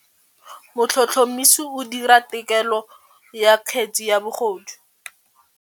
Motlhotlhomisi o dira têkolô ya kgetse ya bogodu.